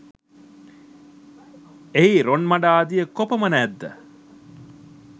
එහි රොන්මඩ ආදිය කොපමණ ඇත් ද